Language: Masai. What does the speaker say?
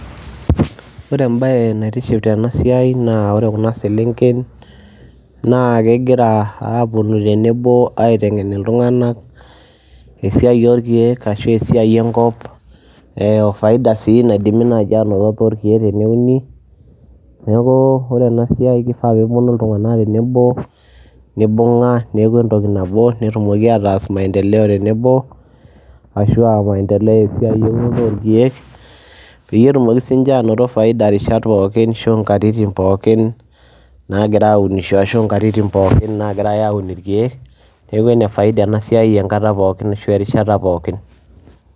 Ore embaye naitiship tena siai naa ore kuna selenken naa kegira aaponu tenebo aiteng'en iltung'anak esiai orkeek ashu esiai enkop ee o faida sii naidimi naaji aanoto torkeek teneuni. Neeku ore ena siai kifaa peeponu iltung'anak tenebo nibung'a neeku entoki nabo netumoki ataas maendeleo tenebo ashu aa maendeleo esiai eunoto orkeek peyie etumoki siinje anoto faida rishat pookin ashu nkatitin pookin naagira aunisho ashu nkatitin pookin naagira aun irkeek. Neeku ene faida ena siai enkata pookin ashu erishata pookin.